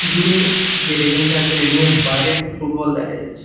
দূরে যে রেলিং -টা আছে রেলিং -এর বাইরে একটা ফুটবল দেখা যাচ্ছে।